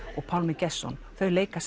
Pálmi Gestsson þau leika